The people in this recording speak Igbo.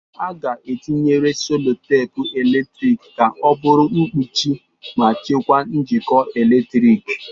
A ga-etinyere selotape eletrik ka ọ bụrụ mkpuchi ma chekwaa njikọ eletrik.